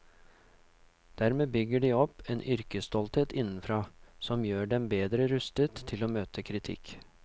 Dermed bygger de opp en yrkesstolthet innenfra, som gjør dem bedre rustet til å møte kritikk.